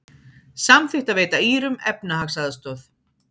Samþykkt að veita Írum efnahagsaðstoð